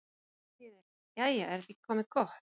Jæja þýðir: Jæja, er þetta ekki komið gott?